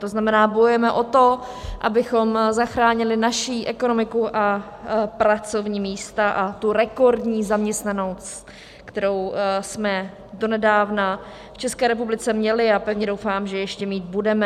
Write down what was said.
To znamená, bojujeme o to, abychom zachránili naši ekonomiku a pracovní místa a tu rekordní zaměstnanost, kterou jsme donedávna v České republice měli, a pevně doufám, že ještě mít budeme.